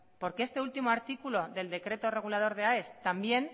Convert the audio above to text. porque este último artículo del decreto regulador de aes también